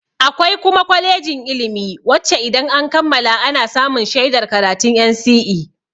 Akwai kuma kwalejin ilimi wacce idan an kammala ana samun shaidar karatun NCE.